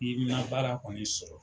I ma baara kɔni sɔrɔ.